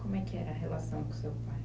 Como é que era a relação com seu pai?